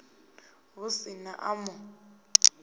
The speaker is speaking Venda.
hu si na a mu